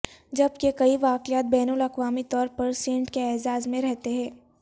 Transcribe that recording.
جبکہ کئی واقعات بین الاقوامی طور پر سینٹ کے اعزاز میں رہتے ہیں